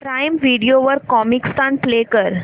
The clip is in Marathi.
प्राईम व्हिडिओ वर कॉमिकस्तान प्ले कर